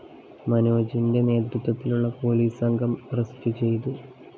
മനോജിന്റെ നേതൃത്വത്തിലുള്ള പോലീസ് സംഘം അറസ്റ്റ്‌ ചെയ്തു